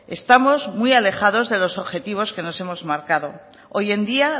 estamos muy alejados de los objetivos que nos hemos marcado hoy en día